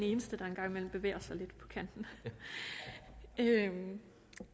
eneste der en gang imellem bevæger sig lidt på kanten der er ingen